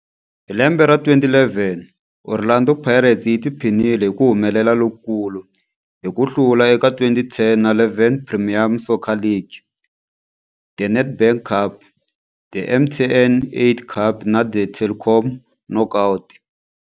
Hi lembe ra 2011, Orlando Pirates yi tiphinile hi ku humelela lokukulu hi ku hlula eka 2010 na 11 Premier Soccer League, The Nedbank Cup, The MTN 8 Cup na The Telkom Knockout.